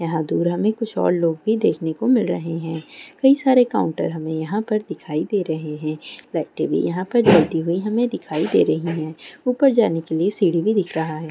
यहाँ दूर हमें कुछ लोग देखने को मिल रहे हैं कई सारे काउंटर हमें यहाँ पर दिखाई दे रहे हैं यहाँ पर चलती हुई दिखाई दे रही है।